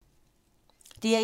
DR1